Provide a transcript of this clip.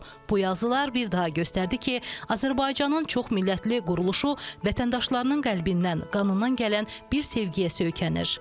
Bu yazılar bir daha göstərdi ki, Azərbaycanın çoxmillətli quruluşu vətəndaşlarının qəlbindən, qanından gələn bir sevgiyə söykənir.